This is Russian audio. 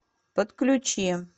подключи